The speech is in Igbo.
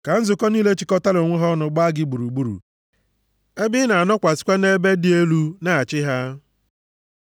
Ka nzukọ niile chịkọtara onwe ha ọnụ gbaa gị gburugburu, ebe ị na-anọkwasịkwa nʼebe dị elu na-achị ha.